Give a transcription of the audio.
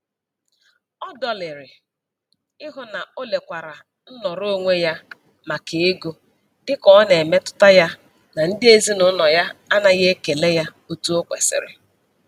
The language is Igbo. Ọ dọlịrị ịhụ na o lekwatara nnọrọonwe ya maka ego dịka ọ na-emetụta ya na ndị ezinaụlọ ya anaghị ekele ya otu o kwesiri.